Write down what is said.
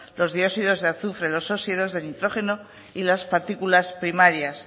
los dióxidos de azufre los óxidos de nitrógeno y las particular primarias